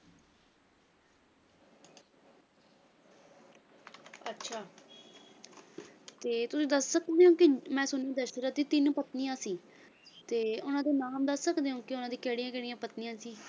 ਅੱਛਾ ਤੇ ਤੁਸੀਂ ਦੱਸ ਦਸ਼ਰਥ ਦੀਆਂ ਤਿੰਨ ਪਤਨੀਆਂ ਸੀ ਤੇ ਉਨ੍ਹਾਂ ਦੇ ਨਾਮ ਦੱਸ ਸਕਦੇ ਹੋ ਨਜਾਂ ਦੀ ਕਿਹੜੀਆਂ ਕਿਹੜੀਆਂ ਪਤਨੀਆਂ ਸੀ